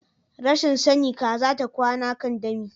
Rashin sani Kaza ta kwana kan dami.